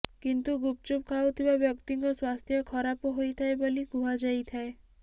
କିନ୍ତୁ ଗୁପଚୁପ ଖାଉଥିବା ବ୍ୟକ୍ତିଙ୍କ ସ୍ୱାସ୍ଥ୍ୟ ଖରାପ ହୋଇଥାଏ ବୋଲି କୁହାଯାଇଥାଏ